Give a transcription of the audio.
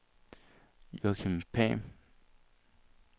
Joachim Pham